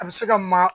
A bɛ se ka ma